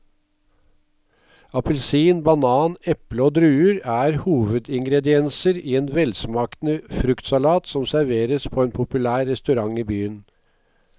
Appelsin, banan, eple og druer er hovedingredienser i en velsmakende fruktsalat som serveres på en populær restaurant i byen.